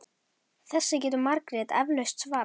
Þessu getur Margrét eflaust svarað.